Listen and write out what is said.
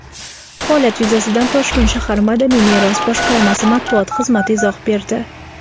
Holat yuzasidan Toshkent shahar madaniy meros boshqarmasi Matbuot xizmati izoh berdi.